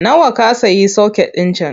Nawa ka sayi soket ɗin can?